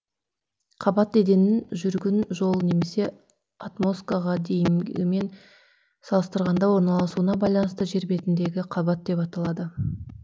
қабат еденін жүргін жол немесе отмосткага деңгейімен салыстырганда орналасуына байланысты жер бетіндегі кабат деп аталады